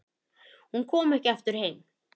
Hún kom ekki aftur heim.